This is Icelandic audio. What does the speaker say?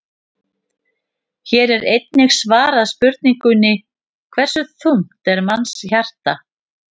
Hér er einnig svarað spurningunni: Hversu þungt er mannshjarta?